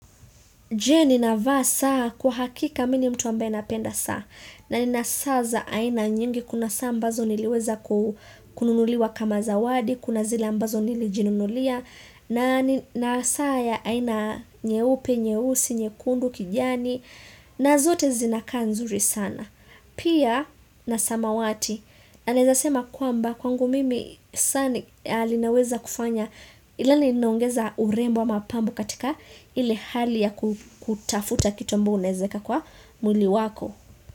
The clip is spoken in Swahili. Je ninavaa saa? Kwa hakika mimi ni mtu ambaye napenda saa na nina saa za aina nyingi kuna saa mbazo niliweza kununuliwa kama zawadi, kuna zila mbazo nilijinunulia nina saa ya aina nyeupe, nyeusi, nyekundu, kijani na zote zinakaa nzuri sana. Pia na samawati, na ninawezasema kwamba kwangu mimi saa linaweza kufanya yani linaongeza urembo wa mapambo katika ile hali ya kutafuta kitu ambayo unaweza weka kwa mwili wako.